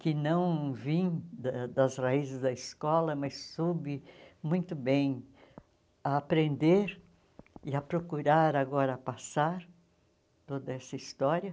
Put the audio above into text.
que não vim da das raízes da escola, mas soube muito bem a aprender e a procurar agora passar toda essa história.